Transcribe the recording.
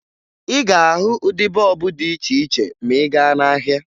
Ị ga-ahụ ụdị bọọbụ dị iche iche ma ị gaa n'ahịa